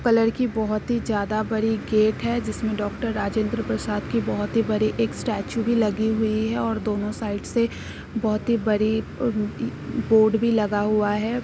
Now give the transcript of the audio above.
Colour की बहोत ही ज्यादा बड़ी गेट है। जिसमें डॉक्टर राजेंद्र प्रसाद की बहोत बड़ी एक स्टैचू भी लगी हुई है और दोनों साइड से बहोत ही बड़ी अ इ बोर्ड भी लगा हुआ है।